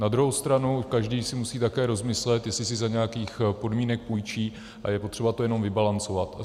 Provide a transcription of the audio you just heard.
Na druhou stranu každý si musí také rozmyslet, jestli si za nějakých podmínek půjčí, a je potřeba to jenom vybalancovat.